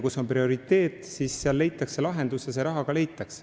Kui on prioriteet, siis leitakse lahendus ja ka see raha leitakse.